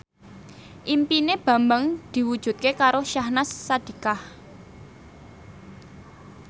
impine Bambang diwujudke karo Syahnaz Sadiqah